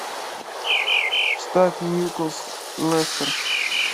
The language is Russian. ставь ньюкасл лестер